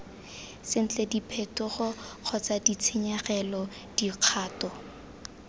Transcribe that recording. sentle diphetogo kgotsa ditshenyegelo dikgato